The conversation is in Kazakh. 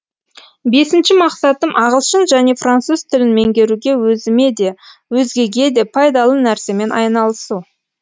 бесінші мақсатым ағылшын және француз тілін меңгеруде өзіме де өзгеге де пайдалы нәрсемен айналысу